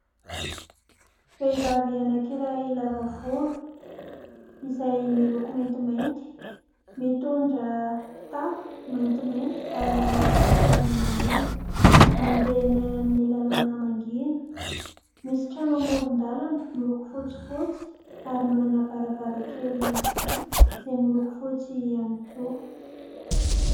Vehivavy anankiray lava volo izay miloko maintimainty, mitondra kitapo maintimainty ary manao kapa menamena, mandeha eny amin'ny lalana mangina. Misy trano amoron-dalana miloko fotsifotsy ary manana varavarankely vy izay miloko fotsy ihany koa.